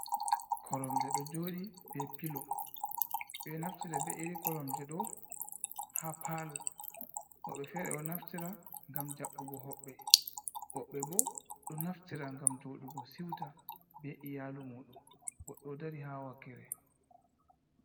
Koromje ɗo joɗi be pilo ɓe naftira be iri koromje ɗo ha palo, woɓɓe fere do naftira ngam jabbugo hobɓe, woɓɓe bo ɗo naftira ngam joɗugo siuta be iyalu mudum godɗo o dari ha wakkere.